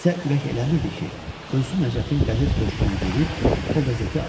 Nisə ürək eləmirdi ki, özü Nəcəfin qəzet köşküə gedib o qəzeti alsın.